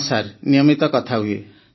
ହଁ ସାର୍ ନିୟମିତ କଥା ହୁଏ